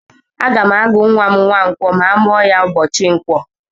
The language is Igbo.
Aga m agụ nwa m Nwankwó ma a mụọ ya ụbọchị ǹkwọ.